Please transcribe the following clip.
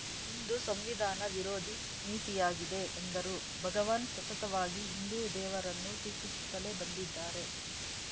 ಇದು ಸಂವಿಧಾನ ವಿರೋಧಿ ನೀತಿಯಾಗಿದೆ ಎಂದರು ಭಗವಾನ್‌ ಸತತವಾಗಿ ಹಿಂದೂ ದೇವರನ್ನು ಟೀಕಿಸುತ್ತಲೇ ಬಂದಿದ್ದಾರೆ